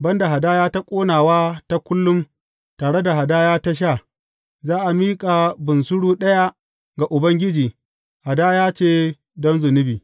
Ban da hadaya ta ƙonawa ta kullum tare da hadaya ta sha, za a miƙa bunsuru ɗaya ga Ubangiji, hadaya ce don zunubi.